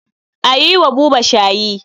A yi wa Buba shayi.